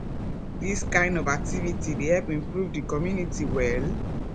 dis kind of activity dey help improve di community well